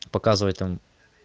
показывать там